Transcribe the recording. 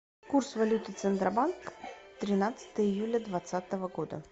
курс валюты центробанк тринадцатое июля двадцатого года